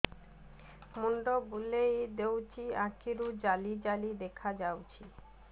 ମୁଣ୍ଡ ବୁଲେଇ ଦେଉଛି ଆଖି କୁ ଜାଲି ଜାଲି ଦେଖା ଯାଉଛି